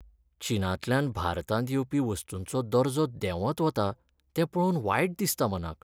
चीनांतल्यान भारतांत येवपी वस्तूंचो दर्जो देंवत वता तें पळोवन वायट दिसता मनाक.